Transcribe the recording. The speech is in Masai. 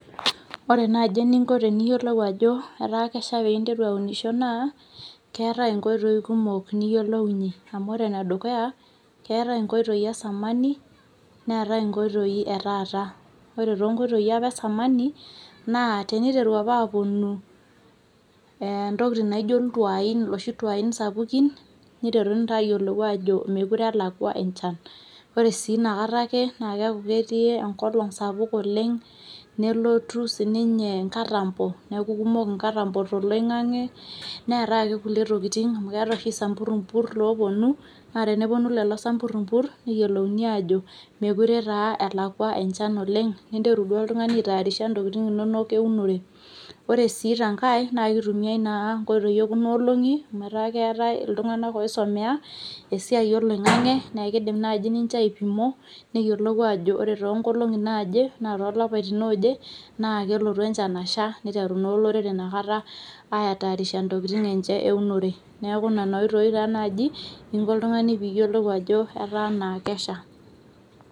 Ore naaji eninko eniyiolou ajo etaa kesha piinteru eunisho naa keatae inkoitoi kumok niyolounye amu ore enedukuya, keatae nkoitoi esamani, neatae enkoitoi etaata. Ore te nkoitoi apa esamani, naa teneiteru apa aaponu ntokitin naijo iltuani, noshi ntuain sapukin neiteruni taa aayiolou aajo mekure elakwa enchan. Ore sii inakata ake naa keaku ektii enkolong sapuk oleng, nelotu sii ninye enkatambo naaku kekumok inkatambo te loing'ang'e, neaate ake kulie tokitin, amu keatae ake samburmpur looponu, naa teneponu lelo isampurpur neyiolouni aajo mekore taa elakwa enchan oleng, ninteru duo oltungani aitayarisha ntokitin inonok eunore. Ore sii tenkae naa keitumiyai naa nkoitoi ekuna olong'i metaa keatae iltunganak oisumea esiai eloing'eng'e naa keidim naaji ninche aipimo, neyiolou aajo ore too nkolong'i naaje ana too ilapatin looje naa kelotu enchan asha, neiteru naa ilorere inakata aitaraisha intokitin enche eunore. Naaku ne oitoi taa naaji inko oltungani piiyolou ajo etaa naa kesha.